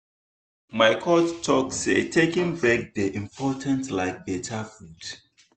my coach talk say taking break dey important like better food.